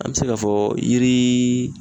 An be se ka fɔ yiri